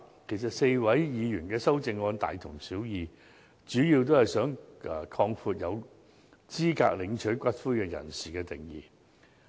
其實 ，4 位議員的修正案大同小異，主要都是想擴闊有資格領取骨灰人士的定義。